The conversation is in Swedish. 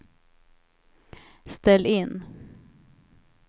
ställ in